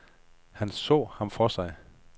Han så ham for sig.